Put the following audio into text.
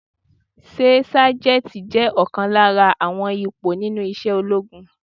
Ṣé Sájẹ́ntì je ọ̀kan lára àwọn ipò nínú isẹ́ ológun?